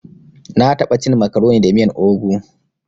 Na taɓa cin makaroni da miyan ogu.